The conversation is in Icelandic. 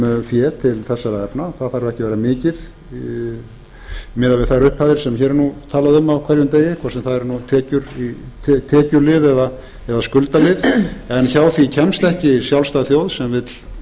um fé til þessara efna það þarf ekki að vera mikið miðað við þær upphæðir sem hér er talað um á hverjum degi hvort sem það er tekju lið eða skulda lið en hjá því kemst ekki sjálfstæð þjóð sem vill